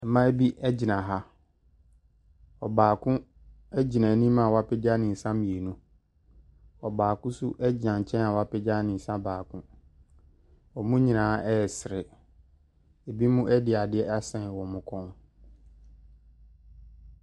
Mmaa bi gyina ha. Ɔbaako gyina anim a wapagya ne nsa mmienu. Ɔbaako nso gyina nkyɛn a wapagya ne nsa baako. Wɔn nyinaa resere. Ebinom de adeɛ asɛn wɔn kɔn mu.